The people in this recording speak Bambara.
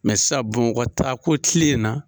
sisa Bamakɔ taako kile in na.